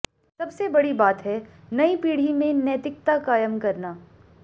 सबसे बड़ी बात है नई पीढ़ी में नैतिकता कायम करना